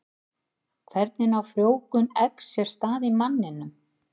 Hvernig á frjóvgun eggs sér stað í manninum?